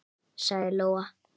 sagði Lóa.